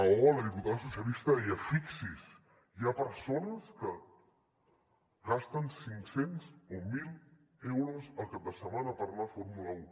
oh la diputada socialista deia fixi’s hi ha persones que gasten cinc cents o mil euros el cap de setmana per anar a fórmula un